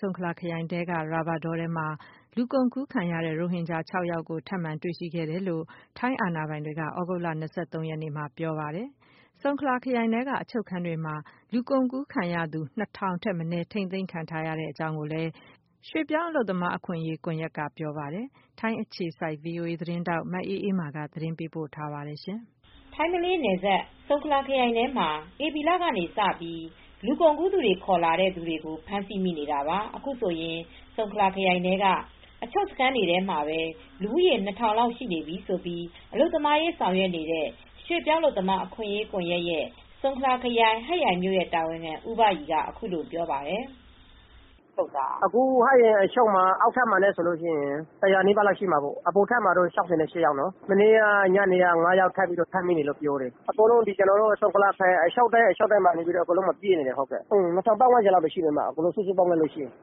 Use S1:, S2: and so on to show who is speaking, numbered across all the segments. S1: ဆုံခလာခရိုင် အတွင်းက ရာဘာတောထဲမှာ လူကုန်ကူးခံရတဲ့ ရိုဟင်ဂျာ ၉ ဦးကို ထပ်မံတွေရှိခဲ့တယ်လို့ ထိုင်း အာဏာပိုင်တွေက သြဂုတ်လ ၂၃ ရက် နေ့မှာ ပြောဆိုခဲ့ပါတယ်။ ဆုံခလာခရိုင်ထဲက အချုပ်တွေထဲမှာ လူကုန်ကူးခံရသူ ၂၀၀၀ ထက်မနည်းဟာ ထိမ်းသိမ်းခံထားရကြောင်း ရွှေ့ပြောင်းအလုပ်သမား အခွင့်အရေး ကွန်ယက်က ဆိုပါတယ်။ထိုင်း အခြေစိုက် ဗွီအိုအေသတင်းထောက် မအေးအေးမာက သတင်းပေးပို့ထားပါတယ်။ မလေးရှားနဲ့နယ်စပ် ထိုင်းနိုင်ငံဘက်ခြမ်းက ဆုံခလာခရိုင်ထဲ
S2: မှာ ဧပြီလကစပြီး လူကုန်ကူး သူတွေ ခေါ်လာတဲ့ ဖမ်းဆီးနေတာဟာ အခုဆိုရင် ဆုံခလာခရိုင်ထဲမှာ အချုပ်စခန်းတွေ ထဲမှာ လူဦးရေ ၂,၀၀၀ လောက် ရှိနေပြီဖြစ်ကြောင်း အလုပ်သမားရေး ဆောင်ရွက် နေတဲ့ ရွှေ့ပြောင်းအလုပ်သမားအခွင့်အရေး ကွန်ရက်၊ ဆုံခလာခရိုင်၊ ဟတ်ရိုင်မြို့ တာဝန်ခံ ဦးဘရီက ပြောပါတယ်။ “ဟတ်ရ
S3: ိုင်အချုပ်ထဲမှာ အောက်ထပ်မှာ ၁၀၀ ကျော်၊ အပေါ်ထပ်မှာ ၆၈ ယောက်နဲ့ မနေ့က ၅ ယောက် ထပ်ပြီး ဖမ်းမိပါတယ်။ အခုဆိုရင် ဆုံခလာခရိုင်ထဲက အချုပ်တွေအားလုံးမှာ လူတွေ ပြည့်နေပါတယ်။ အားလုံးပေါင်းရင် လူဦးရေ ၂ ထောင်လောက် ရှိပါတယ်။”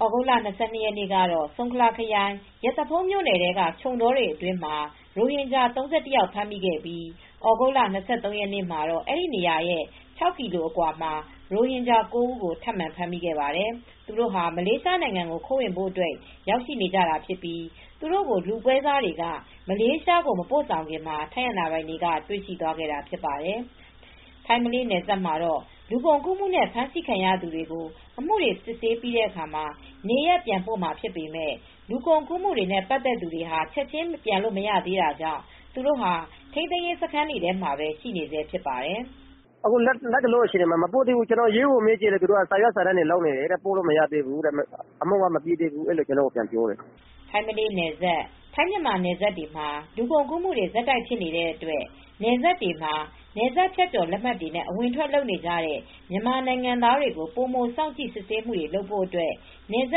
S2: သြဂုတ်လ ၂၂ ရက်နေ့ကတော့ ဆုံခလာခရိုင် ရသဖုန်းမြို့နယ်ထဲက ခြုံတောတွေထဲမှာ ရိုဟင်ဂျာ ၃၁ ယောက် ဖမ်းမိခဲ့ပြီး သြဂုတ်လ ၂၃ ရက်နေ့မှာ အဲဒီနေရာကနေ ၆ ကီလို အကွာမှာ နောက်ထပ် ရိုဟင်ဂျာ ၉ ယောက်ကို ထပ်ပြီး တွေ့ခဲ့ပါတယ်။ သူတို့ဟာ မလေးရှား ဘက်ကို ခိုးဝင်ကြဖို့ ရောက်နေကြတာဖြစ်ပြီး လူပွဲစားတွေက မလေးရှားကို မပို့ခင် ထိုင်းအာဏာပိုင်တွေက တွေ့ပြီး ဖမ်းဆီးခဲ့တာဖြစ်ပါတယ်။ ထိုင်း-မလေးနယ်စပ်မှာ လူကုန်ကူးမှုနဲ့ ဖမ်းဆီးခံရသူတွေကို အမှုစစ်ဆေးပြီးတဲ့အခါ နေရပ်ပြန်ပို့မှာဖြစ်ပေမယ့် လူကုန်ကူးမှုနဲ့ ပတ်သက်နေသူတွေကတော့ ချက်ခြင်းပြန်လို့ မရသေးဘဲ ထိန်းသိမ်းရေးစခန်းတွေထဲမှာပဲ ခေတ္တ ထိန်းသိမ်းထားဆဲဖြစ်ပါတယ်။
S3: “လတ်တလောအခြေအနေမှာ သူတို့ကို မပို့သေးဘူး။ ရဲကိုမေးကြည့်တော့ စာရွက် စာ တမ်းတွေ လုပ်နေရတယ်။ အမှုက မပြီးသေးဘူး။ ပို့လို့ မရသေးဘူးလို့ ရဲက ကျနော့်ကို ပြန်ပြောတယ်။
S2: ” ထိုင်း-မလေးနယ်စပ် ထိုင်း မြန်မာနယ်စပ်တွေမှာ လူကုန်ကူးမှုတွေ ဆက်တိုက် ဖြစ်နေတဲ့ အတွက် နယ်စပ်တွေမှာ နယ်စပ်ဖြတ်ကျော် လက်မှတ်တွေနဲ့ အဝင်အထွက်လုပ်နေတဲ့ မြန်မာနိုင်ငံသားတွေကို ပိုမို စောင့်ကြည့် စစ်ဆေးဖို့အတွက် နယ်စ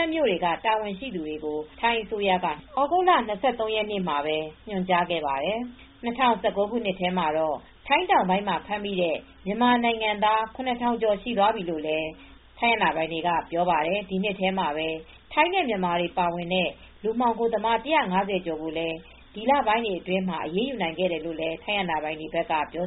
S2: ပ်မြို့တွေက တာဝန်ရှိ သူတွေကို ထိုင်းအစိုးရက သြဂုတ်လ ၂၃ ရက်နေ့မှာပဲ ညွှန်ကြားခဲ့ပါတယ်။ ၂၀၁၉ ခုနှစ်ထဲမှာတော့ ထိုင်း တောင်ပိုင်းမှာ ဖမ်းမိတဲ့ မြန်မာနိုင်ငံသား ၇ ထောင်ကျော် သွားပြီလို့လည်း ထိုင်း အာဏာပိုင်တွေက ပြောပါတယ်။ ဒီနှစ်ထဲမှာပဲ ထိုင်းနဲ့မြန်မာတွေ ပါဝင်တဲ့ လူမှောင်ခိုသမား ၁၅၀ ကျော်ကိုလည်း ဒီလပိုင်းတွေအတွင်းမှာ အရေးယူနိုင် ခဲ့ကြောင်း ထိုင်းအာဏာပိုင်တွေက ပြော